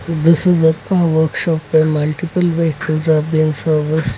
this is workshop where multiple vehicles are being serviced.